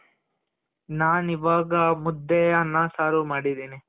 ನಾನು ಇವಾಗ ಮುದ್ದೆ, ಅನ್ನ, ಸಾರು ಮಾಡಿದಿನಿ.